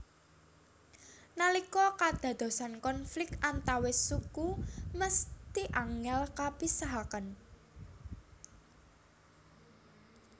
Nalika kadadosan konflik antawis suku mesthi angel kapisahaken